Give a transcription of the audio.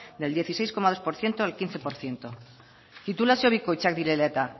del dieciséis coma dos por ciento al quince por ciento titulazio bikoitzak direla eta